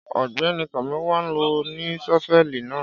Ọgbẹni Tọmiwa lo ní ṣọfẹli nà.